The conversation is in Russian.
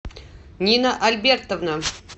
нина альбертовна